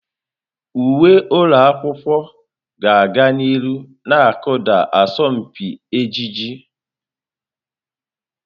Uwe ụlọ akwụkwọ ga-aga n'ihu na-akụda asọmpi ejiji.